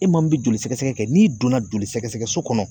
E maa min bɛ joli sɛgɛsɛgɛ kɛ n'i donna joli sɛgɛsɛgɛso kɔnɔ